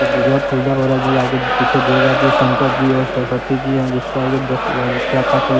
दुर्गा पूजा हो रहा है जो आगे पीछे दुर्गा जी शंकर जी और सरस्वती जी हैं जिससे आगे दस लड़ चार पांच लड़--